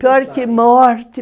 Pior que morte